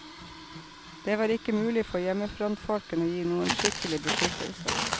Det var ikke mulig for hjemmefrontfolkene å gi noen skikkelig beskyttelse.